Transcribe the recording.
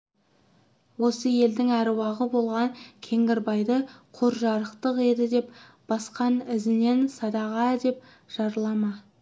осы елдің әруағы болған кеңгірбайды құр жарықтық еді деп басқан ізінен садаға деп жырлама